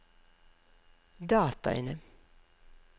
dataene